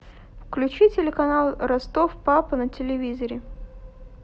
включи телеканал ростов папа на телевизоре